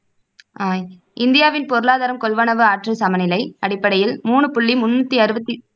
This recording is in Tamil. அஹ் இந்தியாவின் பொருளாதாரம் கொள்வனவு ஆற்றல் சமநிலை அடிப்படையில் மூணு புள்ளி முண்ணூத்தி அறுவத்தி